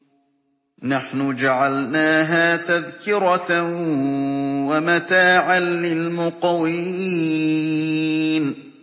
نَحْنُ جَعَلْنَاهَا تَذْكِرَةً وَمَتَاعًا لِّلْمُقْوِينَ